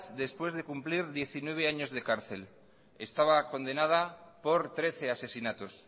después de cumplir diecinueve años de cárcel estaba condenada por trece asesinatos